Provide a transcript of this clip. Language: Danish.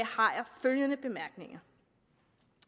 følgende bemærkninger